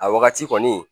A wagati kɔni